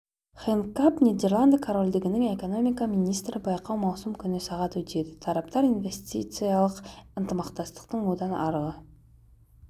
хэнк камп нидерланды корольдігінің экономика министрі байқау маусым күні сағат өтеді тараптар инвестициялық ынтымақтастықтың одан арғы